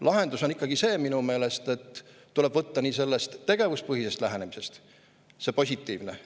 Lahendus on minu meelest ikkagi see, et tuleb võtta tegevuspõhisest lähenemisest positiivne osa.